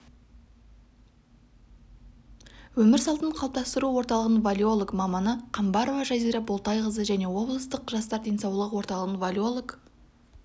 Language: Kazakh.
өмір салтын қалыптастыру орталығының валеолог маманы қамбарова жазира болтайқызы және облыстық жастар денсаулығы орталығының валеолог